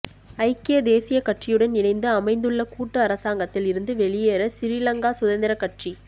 ஐக்கிய தேசியக் கட்சியுடன் இணைந்து அமைத்துள்ள கூட்டு அரசாங்கத்தில் இருந்து வெளியேற சிறிலங்கா சுதந்திரக் கட்சி